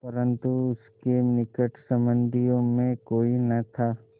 परन्तु उसके निकट संबंधियों में कोई न था